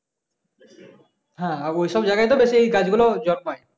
হ্যাঁ ঐসব জায়গায় তো বেশি এই গাছগুলো জন্মায়।